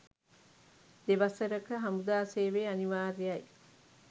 දෙවසරක හමුදා සේවය අනිවාර්යයි.